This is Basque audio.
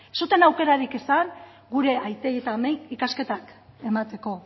ez zuten aukerarik izan gure aitei eta amei ikasketak emateko